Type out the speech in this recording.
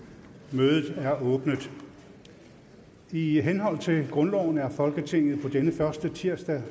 mødet er åbnet i henhold til grundloven er folketinget på denne første tirsdag